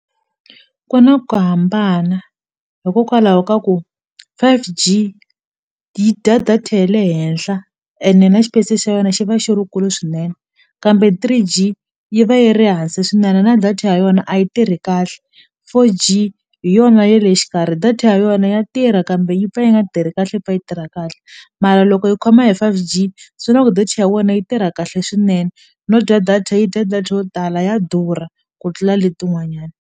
Ku na ku hambana hikokwalaho ka ku five-G yi dya data ya le henhla ene na xipesi xa yona xi va xi rikulu swinene kambe three-G yi va yi ri hansi swinene na data ya yona a yi tirhi kahle four-G hi yona ya le xikarhi data ya yona ya tirha kambe yi pfa yi nga tirhi kahle yi pfa yi tirha kahle mara loko yi khoma hi five-G swi la ku data ya wena yi tirha kahle swinene no dya data yi dya data yo tala ya durha ku tlula letin'wanyana.